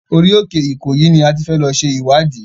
Orí òkè Ìkòyí ni a ti fẹ́ lọ ṣe ìwádìí.